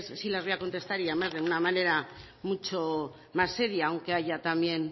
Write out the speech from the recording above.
sí las voy a contestar y además de una manera mucha más seria aunque haya también